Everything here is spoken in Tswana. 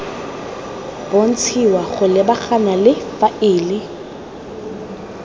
bontshiwa go lebagana le faele